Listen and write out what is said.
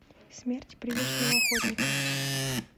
смерть призрачного охотника